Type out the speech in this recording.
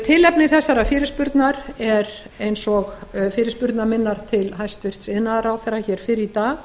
tilefni þessarar fyrirspurnar er eins og fyrirspurnar minnar til hæstvirts iðnaðarráðherra hér fyrr í dag